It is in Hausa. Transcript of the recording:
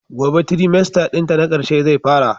Gobe trimester dinta na karshe zai fara.